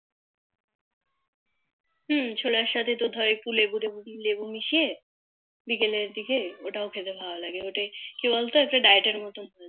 হু ছোলার সাথে তোর একটু লেবু তেবু লেবু মিশিয়ে বিকেলের দিকে ওটাও খেতে ভালো লাগে ওটা কি বল তো ওটা Diet এর মতো হয়ে যায়